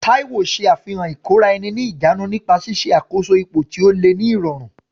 Taiwo ṣe àfihàn ìkóra-ẹni-níjàánu nípa ṣíṣe àkóso ipò tí ó le ní ìrọ̀rùn.